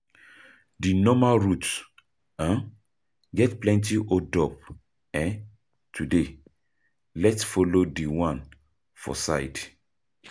Di normal route um get plenty hold up um today, let’s follow di one for side.